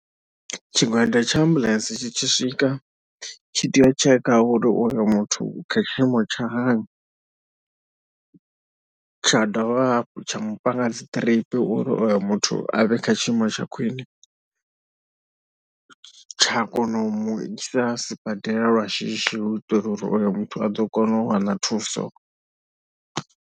Tshigwada tsha ambuḽentse tshi tshi swika tshi tea u tsheka uri oyo muthu u kha tshiimo tsha hani, tsha dovha hafhu tsha mu panga dzi drip uri oyo muthu a vhe kha tshiimo tsha khwine, tsha kona u mu isa sibadela lwa shishi u itela uri oyo muthu a ḓo kona u wana thuso.